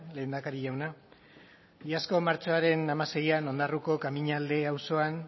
lehendakari jauna iazko martxoaren hamaseian ondarroako kamiñalde auzoan